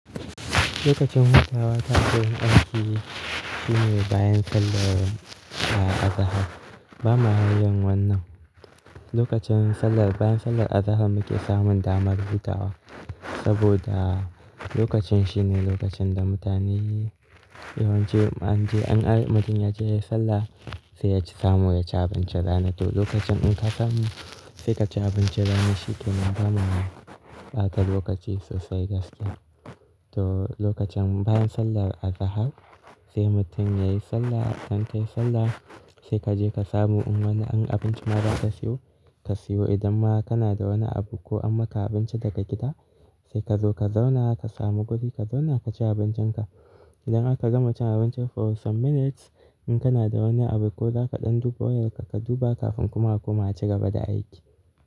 Lokacin hutawa ta ko yin aiki shine bayan sallar, ah, azahar. Ba mayin wannan, lokacin sallar, bayan sallar azahar muke samun damar hutawa. Saboda lokacin shine lokacin da mutane yawanci an je, an mutum ya je yayi sallah, sai ya ci samo ya ci abincin rana. To lokacin in ka samu, sai ka ci abincin rana shi kenan, bana bata lokaci sosai gaskiya. To lokacin bayan sallar azahar sai mutum yayi sallah, kan tayi sallah sai kaje ka samu in wani an abincin ma za ka siyo, ka siyo idan ma kana da wani abu ko an maka abinci daga gida sai kazo ka zauna ka samu guri ka zauna ka ci abincinka. Idan aka gama cin abinci for some minutes in kana da wani abu ko za ka ɗan duba wayarka ka duba kafin kuma a koma ci gaba da aiki.